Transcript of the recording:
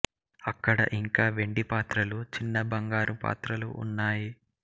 అక్కడ ఇంకా వెండి పాత్రలు చిన్న బంగారు పాత్రలు ఉన్నాయి